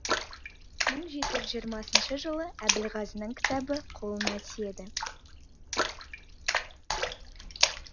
мың жеті жүз жиырмасыншы жылы әбілғазының кітабы қолына тиеді